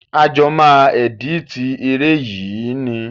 A jọ máa ẹ̀dítì eré yìí ni.